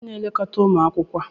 Kedu onye na-elekọta ụmụ akwụkwọ a?